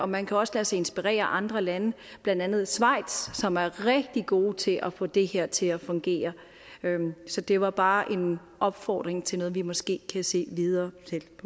man kan også lade sig inspirere af andre lande blandt andet schweiz som er rigtig gode til at få det her til at fungere så det var bare en opfordring til noget vi måske kan se videre